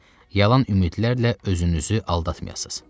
Yalan ümidlərlə özünüzü aldatmayasız.